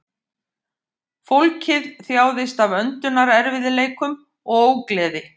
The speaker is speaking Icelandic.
Fólkið þjáðist af öndunarerfiðleikum og ógleði